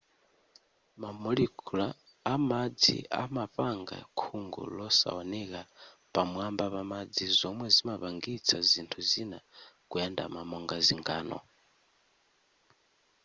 ma molecule amadzi amapanga khungu losawoneka pamwamba pamadzi zomwe zimapangisa zinthu zina kuyandama monga zingano